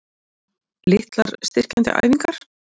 Litlar styrkjandi æfingar?